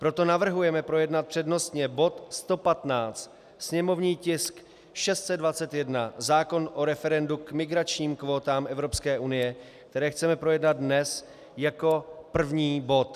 Proto navrhujeme projednat přednostně bod 115, sněmovní tisk 621, zákon o referendu k migračním kvótám EU, které chceme projednat dnes jako první bod.